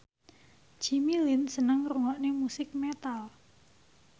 Jimmy Lin seneng ngrungokne musik metal